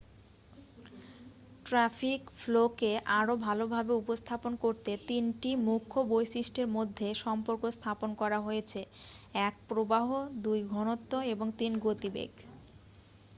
Traffic ফ্লো-কে আরও ভালভাবে উপস্থাপন করতে তিনটি মুখ্য বৈশিষ্ট্যের মধ্যে সম্পর্ক স্থাপন করা হয়েছে: 1 প্রবাহ 2 ঘনত্ব এবং 3 গতিবেগ।